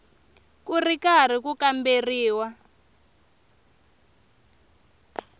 ku ri karhi ku kamberiwa